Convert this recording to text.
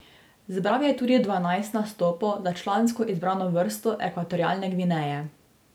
Zbral je tudi dvanajst nastopov za člansko izbrano vrsto Ekvatorialne Gvineje.